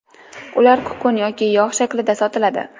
Ular kukun yoki yog‘ shaklida sotiladi.